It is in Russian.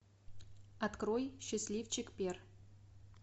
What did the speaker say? открой счастливчик пер